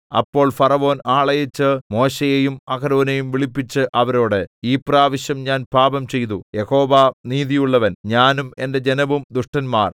അപ്പോൾ ഫറവോൻ ആളയച്ച് മോശെയെയും അഹരോനെയും വിളിപ്പിച്ച് അവരോട് ഈ പ്രാവശ്യം ഞാൻ പാപംചെയ്തു യഹോവ നീതിയുള്ളവൻ ഞാനും എന്റെ ജനവും ദുഷ്ടന്മാർ